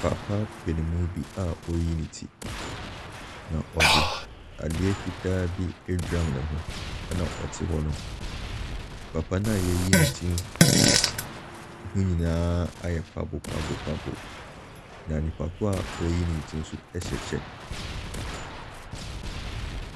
Papa panin bi a ɔreyi ne, na ɔde adeɛ fitaa bi adura ne ho na ɔte hɔ no. papa no a wɔreyi ne ti no ho nyinaa ayɛ kwabo kwabo kwabo, na nipa ko a ɔreyi ne ti no nso hyɛ kyɛ.